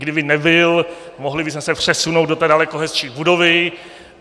Kdyby nebyl, mohli bychom se přesunout do té daleko hezčí budovy.